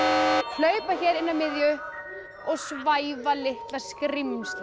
hlaupa hér inn að miðju og svæfa litla skrímslið